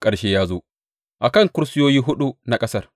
Ƙarshe ya zo a kan kusurwoyi huɗu na ƙasar.